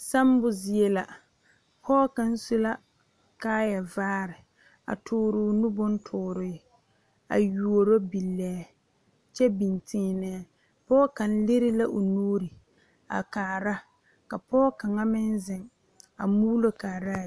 Sambo zie la pɔɔ kaŋ su la kaayɛ vaare a tooroo nu bontoore a yuoro bilɛɛ kyɛ biŋ tēēnɛɛ pɔɔ kaŋ lire lavo nuure a kaara ka pɔɔ kaŋa meŋ zeŋ a muulo kaaraa bie.